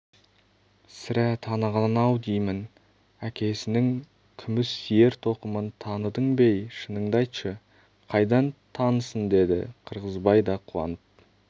сірә таныған-ау деймін әкесінің күміс ер-тоқымын таныдың бе-ей шыныңды айтшы қайдан танысын деді қырғызбай да қуанып